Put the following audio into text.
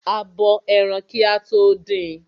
A bo ẹran kí a tó din.